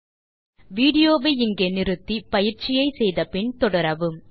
ஆகவே இப்போது வீடியோ வை இங்கே நிறுத்தி பயிற்சியை செய்து முடித்து பின் தொடரவும்